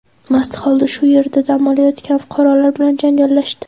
mast holda shu yerda dam olayotgan fuqarolar bilan janjallashdi.